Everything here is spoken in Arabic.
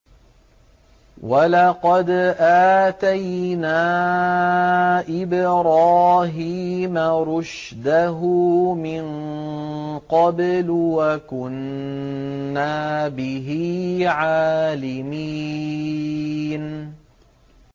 ۞ وَلَقَدْ آتَيْنَا إِبْرَاهِيمَ رُشْدَهُ مِن قَبْلُ وَكُنَّا بِهِ عَالِمِينَ